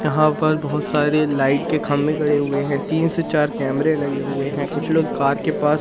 यहां पर बहोत सारे लाइट के खंबे खड़े हुए है तीन से चार कैमरे लगे हुए है कुछ लोग कार के पास--